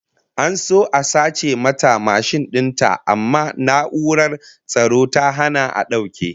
An so a sace mata mashin din ta amma na'urar tsaro ta hana a dauke